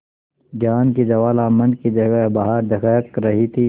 ज्ञान की ज्वाला मन की जगह बाहर दहक रही थी